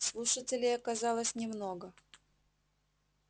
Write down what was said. слушателей оказалось немного